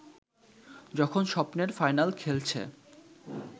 যখন স্বপ্নের ফাইনাল খেলছে